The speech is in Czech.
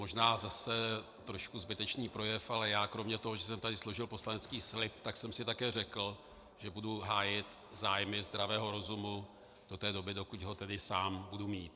Možná zase trošku zbytečný projev, ale já kromě toho, že jsem tady složil poslanecký slib, tak jsem si také řekl, že budu hájit zájmy zdravého rozumu do té doby, dokud ho tedy sám budu mít.